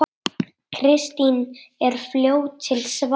Kristín er fljót til svars.